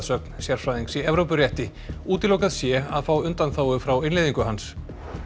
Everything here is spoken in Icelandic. sögn sérfræðings í Evrópurétti útilokað sé að fá undanþágu frá innleiðingu hans